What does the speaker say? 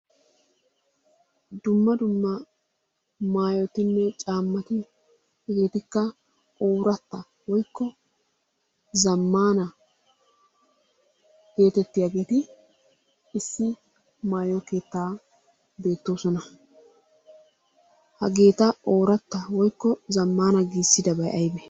Dumma dumma maayotinne caamati hegeetikka ooratta woykko zamaana geetettiyaageti issi maayo keettan beetoosona. Hageeta ooratta woykko zammaana giissidabay aybee?